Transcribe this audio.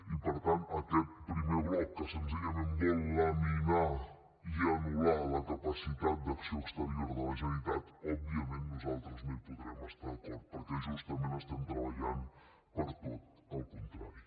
i per tant aquest primer bloc que senzillament vol laminar i anul·lar la capacitat d’acció exterior de la generalitat òbviament nosaltres no hi podrem estar d’acord perquè justament estem treballant per tot el contrari